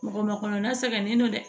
Mɔgɔ makɔnɔ na sɛgɛnnen don dɛ